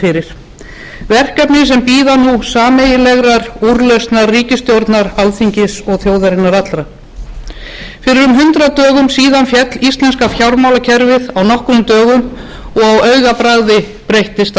fyrir verkefni sem bíða nú sameiginlegrar úrlausnar ríkisstjórnar alþingis og þjóðarinnar allrar fyrir um tvö hundruð dögum féll íslenska fjármálakerfið á nokkrum dögum og á augabragði breyttist